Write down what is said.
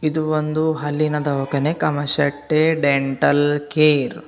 ಇದು ಒಂದು ಅಲ್ಲಿನ ದವಾಖಾನೆ ಕಮಶೆಟ್ಟಿ ಡೆಂಟಲ್ ಕೇರ್ .